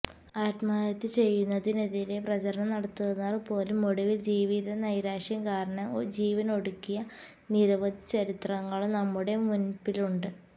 ആത്മഹത്യ ചെയ്യുന്നതിനെതിരെ പ്രചരണം നടത്തുന്നവർ പോലും ഒടുവിൽ ജീവിതനൈരാശ്യം കാരണം ജീവനൊടുക്കിയ നിരവധി ചരിത്രങ്ങളും നമ്മുടെ മുന്പിലുണ്ട്